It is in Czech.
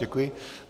Děkuji.